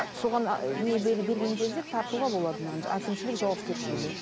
соған ы не берген кезде тартуға болады мынаны әкімшлік жауапкершілігіне